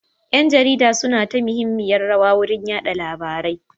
Ƴan jarida suna taka muhimmiyar rawa wurin yada labari.